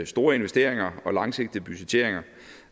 store investeringer og langsigtede budgetteringer